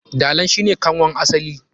Dalan shi ne kanwan asali.